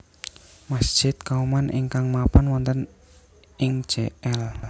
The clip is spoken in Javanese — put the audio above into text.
Masjid Kauman ingkang mapan wonten ing Jl